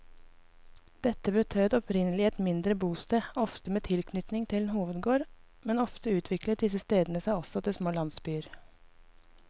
Dette betød opprinnelig et mindre bosted, ofte med tilknytning til en hovedgård, men ofte utviklet disse stedene seg også til små landsbyer.